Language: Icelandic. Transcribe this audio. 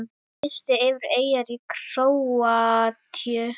Listi yfir eyjar í Króatíu